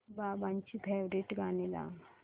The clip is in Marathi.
बाबांची फेवरिट गाणी लाव